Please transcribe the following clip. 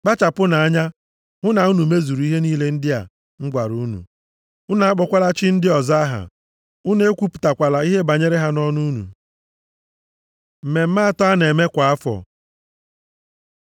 “Kpachapụnụ anya hụ na unu mezuru ihe niile ndị a m gwara unu. Unu akpọkwala chi ndị ọzọ aha. Unu ekwupụtakwala ihe banyere ha nʼọnụ unu. Mmemme atọ a na-eme kwa afọ